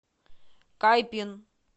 кайпин